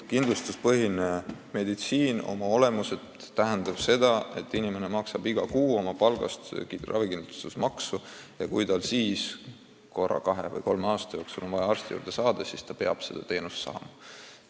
Kindlustuspõhine meditsiin oma olemuselt tähendab seda, et inimene maksab iga kuu oma palgast ravikindlustusmaksu ja kui tal siis korra kahe või kolme aasta jooksul on vaja arsti juurde saada, siis ta peab sinna saama.